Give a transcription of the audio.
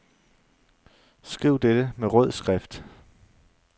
Skriv dette med rød skrift.